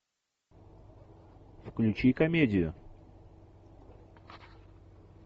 включи комедию